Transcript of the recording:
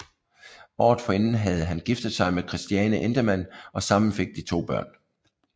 Året forinden havde han giftet sig med Christiane Endemann og sammen fik de to børn